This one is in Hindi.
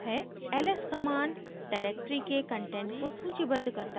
ls command directory के कंटेंट को सूचीबद्ध करता है